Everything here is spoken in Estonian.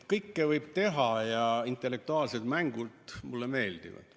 Kõike võib teha ja intellektuaalsed mängud mulle meeldivad.